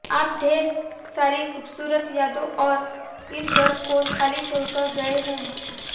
आप ढेर सारी खूबसूरत यादें और इस घर को खाली छोड़कर गए हैं